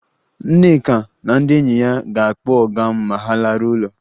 Nneka na ndị enyi ya ga-akpọ ọga ma ha laruo ụlọ